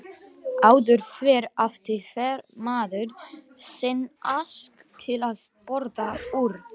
Áður fyrr átti hver maður sinn ask til að borða úr.